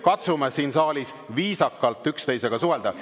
Katsume siin saalis üksteisega viisakalt suhelda.